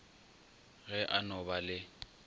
ge a no ba le